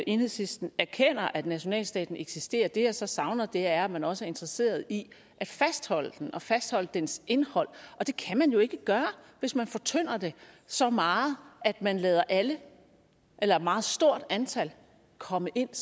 enhedslisten erkender at nationalstaten eksisterer det jeg så savner er at man også er interesseret i at fastholde den og fastholde dens indhold og det kan man jo ikke gøre hvis man fortynder det så meget at man lader alle eller et meget stort antal komme ind